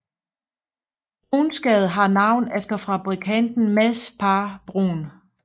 Bruuns Gade har navn efter fabrikanten Mads Pagh Bruun